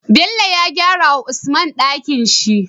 Bello ya gyara wa usman Ɗakinshi